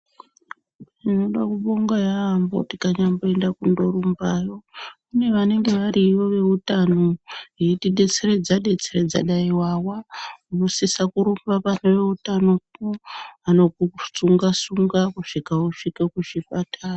Tinoda kubonga yaambo tikanyamboenda kundorumbayo kune vanenge variyo veutano eitidetseredza-detseredza dai wawa unosisa kurumba pane veutanopo vanokusunga-sunga kusvika usvike kuzvipatara.